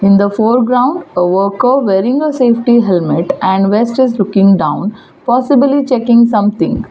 In the foreground worker wearing a safety helmet and vest is looking down possibly checking something.